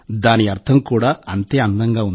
దాని అర్థం కూడా అంతే మనోహరంగా ఉంది